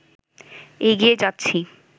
এগিয়ে যাচ্ছি